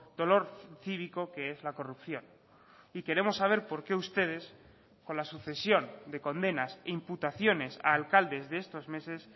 dolor cívico que es la corrupción y queremos saber por qué ustedes con la sucesión de condenas e imputaciones a alcaldes de estos meses